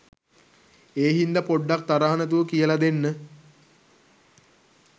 ඒ හින්ද පොඩ්ඩක් තරහ නැතුව කියල දෙන්න.